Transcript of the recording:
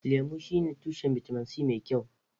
Orange shine tushen bitamin C mai kyau.